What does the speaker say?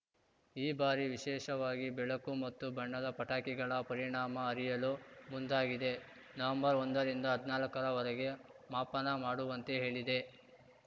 ಈ ಬಾರಿ ವಿಶೇಷವಾಗಿ ಬೆಳಕು ಮತ್ತು ಬಣ್ಣದ ಪಟಾಕಿಗಳ ಪರಿಣಾಮ ಅರಿಯಲು ಮುಂದಾಗಿದೆ ನವೆಂಬರ್ಒಂದರಿಂದ ಹದ್ನಾಲ್ಕರ ವರೆಗೆ ಮಾಪನ ಮಾಡುವಂತೆ ಹೇಳಿದೆ